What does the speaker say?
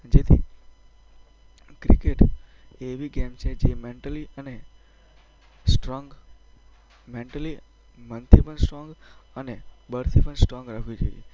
જેથી ક્રિકેટ એ એવી ગેમ છે જે મેન્ટલી અને સ્ટ્રોન્ગ મેન્ટલી અને મનથી પણ સ્ટ્રોન્ગ અને બહારથી પણ સ્ટ્રોન્ગ રાખવી જોઈએ.